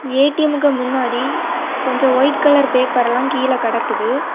ஏ_டி_எம்க்கு முன்னாடி கொஞ்ஜோ white colour பேப்பர்லா கீழ கெடக்குது.